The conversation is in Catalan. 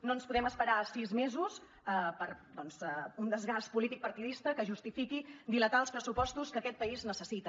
no ens podem esperar sis mesos per un desgast polític partidista que justifiqui dilatar els pressupostos que aquest país necessita